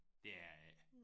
Det er det ikke